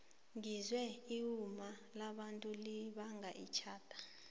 ngizwe iwoma labantu libanga itjhada